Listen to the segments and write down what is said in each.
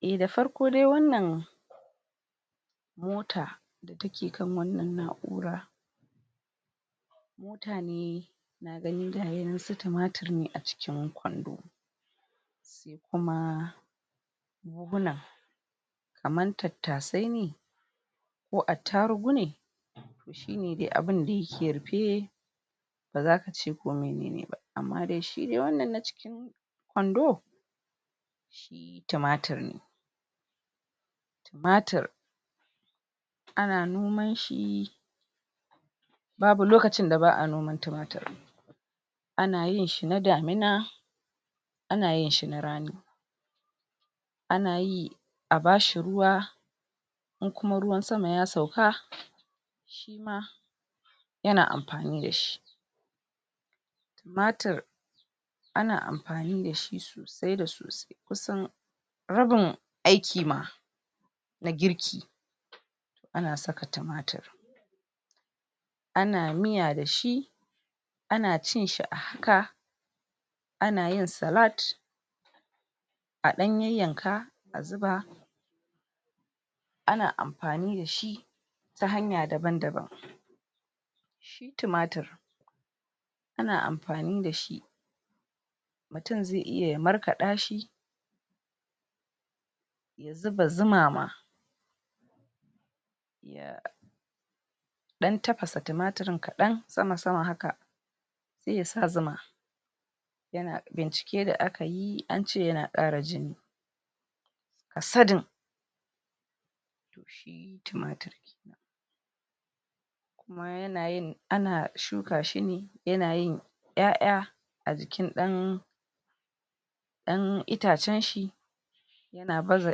Eh da farko dai wannan mota da ta ke kan wannan na'ura mutane na gani gaya nan su tumatir ne a cikin kwando, sai kuma buhuna kamar tattasai ne ko attarugu ne? shi ne dai abinda ya ke rufe ba za ka ce ko minene ba, amma dai shi dai wannan na cikin kwando shi tumatir ne, tumatir ana nomanshi babu lokacin da ba'a noman tumatir, ana yin shi na damina, ana yin shi na rani, ana yi a ba shi ruwa inkuma ruwan sama ya sauka shima ya na amfani da shi, tumatir ana amfani da shi sasai da sosai kusan rabin aiki ma na girki to ana saka tumatir, ana miya da shi, ana cin shi a haka, ana yin salad a ɗan yayyanka a zuba, ana amfani da shi ta hanya daban daban, shi tumatir ana amfani da shi mutum zai iya ya markaɗa shi ya zuba zuma ma ya ɗan tafasa tumatarin kaɗan sama-sama haka sai ya sa zuma, ya na bincike da aka yi, an ce ya na ƙara jini. A sadin to shi tumatari kuma yanayin ana shuka shi ne ya na yin 'ya'ya a jikin ɗan ɗan itacenshi, ya na baza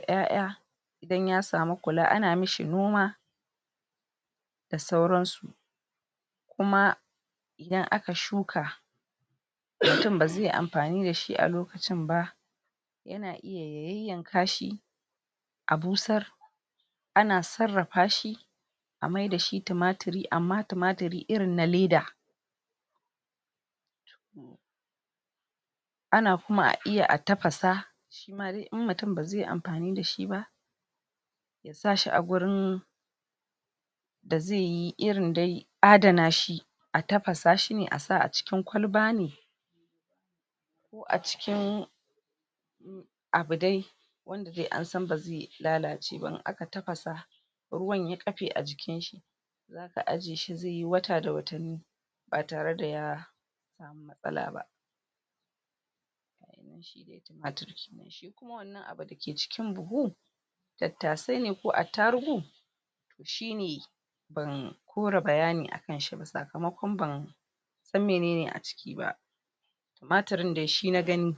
'ya'ya idan ya samu kula, ana ma shi noma da sauransu, kuma idan aka shuka mutum ba zai amfani da shi a lokacin ba ya na iya ya yayyanka shi a busar, ana sarrafa shi a maida shi tumatiri amma tumatiri irin na leda, ana kuma iya a tafasa, shima dai in mutum ba zai amfani da shi ba ya sa shi a gurin da zai yi, irin dai adana shi a tafasa shi ne a sa cikin kwalaba ne, a cikin abu dai wanda dai an san ba zai lalace ba in aka tafasa ruwan ya ƙafe a jikinshi, za ka aje shi zai yi wata da watanni ba tare da ya sa mu matsala ba. Shi dai tumatir kenan, shi kuma wannan abu da ke cikin buhu tattasai ne ko attarugu to shi ne ban kora bayani kan shi ba, sakamakon ban san menene a ciki ba tumatarin dai shi na gani.